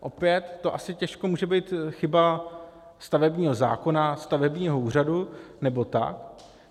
Opět to asi těžko může být chyba stavebního zákona, stavebního úřadu nebo tak.